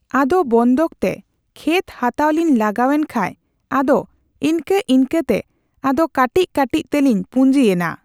ᱟᱫᱚ ᱵᱚᱱᱫᱷᱚᱠ ᱛᱮ ᱠᱷᱮᱛ ᱦᱟᱛᱟᱣ ᱞᱤᱧ ᱞᱟᱜᱟᱣᱮᱱ ᱠᱷᱟᱡ ᱟᱫᱚ ᱤᱱᱠᱟᱹᱼᱤᱱᱠᱟᱹ ᱛᱮ ᱟᱫᱚ ᱠᱟᱴᱤᱪ ᱠᱟᱴᱤᱪ ᱛᱮᱞᱤᱧ ᱯᱩᱸᱡᱤᱭᱮᱱᱟ᱾